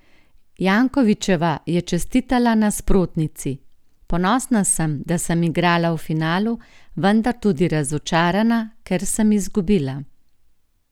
Jankovićeva je čestitala nasprotnici: "Ponosna sem, da sem igrala v finalu, vendar tudi razočarana, ker sem izgubila.